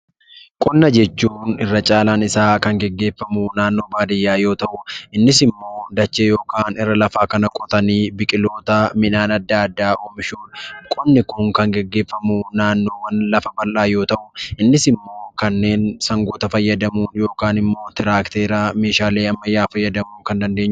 Qonna jechuun irra caalaan isaa kan gaggeeffamu naannoo baadiyyaa keessaatti yoo ta'u; innis immoo dachee irra lafaa kana qotanii biqiloota, midhaan addaa addaa oomishuuf . Qonni kun kan gaggeeffamu naannoowwan lafa bal'aa yoo ta'u kunis immoo sangoota fayyadamuun yookiin immoo meeshaalee ammayyaa kanneen akka tiraakteeraa fayyadamuu kan dandeenyuudha.